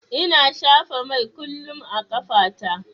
Ina shafa mai kullum a ƙafa ta.